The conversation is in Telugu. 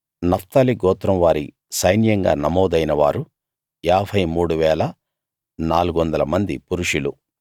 నఫ్తాలి గోత్రం వారి సైన్యంగా నమోదైన వారు 53 400 మంది పురుషులు